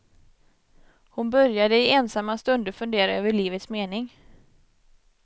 Hon började i ensamma stunder fundera över livets mening.